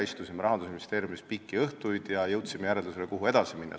Istusime pikki õhtuid Rahandusministeeriumis ja jõudsime järeldusele, kuidas edasi minna.